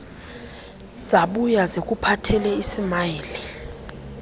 zabuya zikuphathele usmayili